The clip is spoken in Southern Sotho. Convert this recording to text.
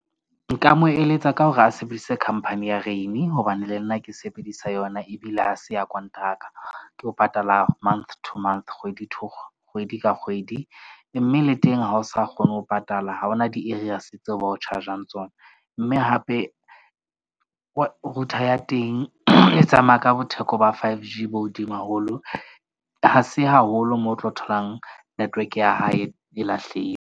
Nka mo eletsa ka hore a sebedise company ya Rain hobane le nna ke sebedisa yona. Ebile ha se ya konteraka. Ke ho patala month to month, kgwedi to kgwedi ka kgwedi. Mme le teng ha o sa kgone ho patala. Ha hona di-arrears tseo ba o charge-ang tsona. Mme hape router ya teng e tsamaya ka bo theko ba 5G bo hodimo haholo. Ha se haholo moo o tlo tholang network-e ya hae e .